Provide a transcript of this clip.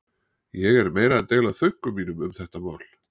Ég er meira að deila þönkum mínum um þetta mál.